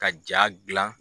Ka ja gilan